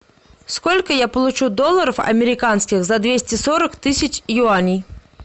сколько я получу долларов американских за двести сорок тысяч юаней